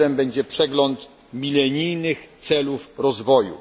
Jego celem będzie przegląd milenijnych celów rozwoju.